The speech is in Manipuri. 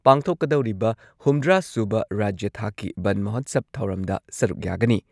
ꯄꯥꯡꯊꯣꯛꯀꯗꯧꯔꯤꯕ ꯍꯨꯝꯗ꯭ꯔꯥ ꯁꯨꯕ ꯔꯥꯖ꯭ꯌ ꯊꯥꯛꯀꯤ ꯕꯟ ꯃꯍꯣꯠꯁꯕ ꯊꯧꯔꯝꯗ ꯁꯔꯨꯛ ꯌꯥꯒꯅꯤ꯫